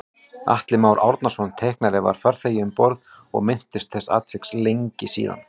Atli Már Árnason teiknari var farþegi um borð og minntist þessa atviks lengi síðan